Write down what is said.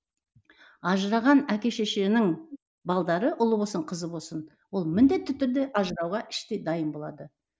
ажыраған әке шешенің балдары ұлы болсын қызы болсын ол міндетті түрде ажырауға іштей дайын болады